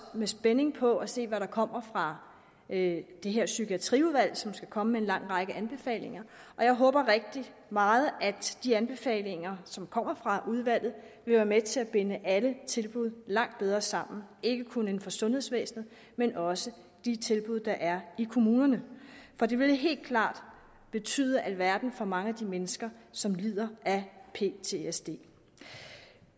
med spænding på at se hvad der kommer fra det her psykiatriudvalg som skal komme med en lang række anbefalinger jeg håber rigtig meget at de anbefalinger som kommer fra udvalget vil være med til at binde alle tilbud langt bedre sammen ikke kun inden for sundhedsvæsenet men også de tilbud der er i kommunerne for det vil helt klart betyde alverden for mange af de mennesker som lider af ptsd